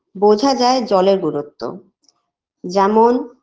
বোঝা যায় জলের গুরুত্ব যেমন